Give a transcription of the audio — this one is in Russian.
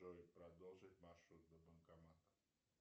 джой продолжить маршрут до банкомата